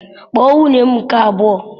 Kpọọ nwunye m nke abụọ!